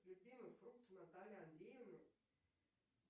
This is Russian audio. любимый фрукт натальи андреевны